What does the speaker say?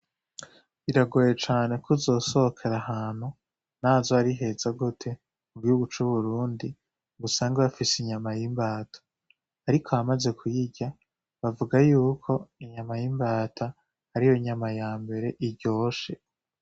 Biragoye cane ko uzosohokera ahantu nazo hari heza gote u gihugu c'uburundi ngusanga bafise inyama y'imbata, ariko abamaze kuyirya bavuga yuko inyama y'imbata ari yo inyama ya mbere iryoshe.